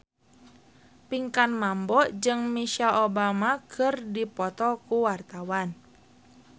Pinkan Mambo jeung Michelle Obama keur dipoto ku wartawan